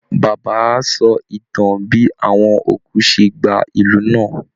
Bàbá á sọ ìtàn bí àwọn òkú ṣe gba ìlú náà